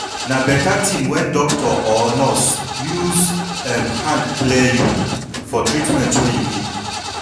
na beta thin wen doctor or nurse use em hand clear you for treatment wey you need